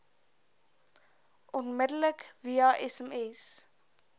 onmiddellik via sms